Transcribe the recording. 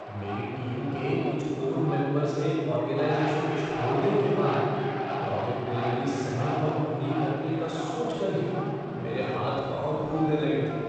मेरी टीम के कुछ कोर मेंबर्स के ऑर्गेनाइज़ेशन छोड़ने के बाद प्रोजेक्ट डिलीवरी समय पर पूरी करने का सोचकर ही मेरे हाथ पाँव फूलने लगे थे।